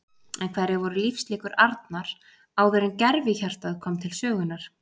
En hverjar voru lífslíkur Arnar áður en gervihjartað kom til sögunnar?